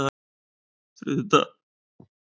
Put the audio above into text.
þriðjudagar